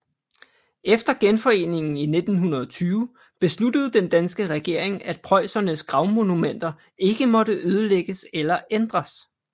Efter genforeningen i 1920 besluttede den danske regering at preussernes gravmonumenter ikke måtte ødelægges eller ændres